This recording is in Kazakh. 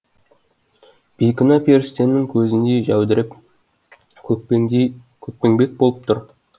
бейкүнә періштенің көзіндей жәудіреп көкпеңбек болып тұр